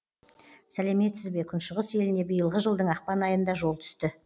сәлеметсізбе күншығыс еліне биылғы жылдың ақпан айында жол түсті